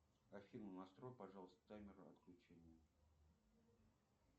афина настрой пожалуйста таймер отключения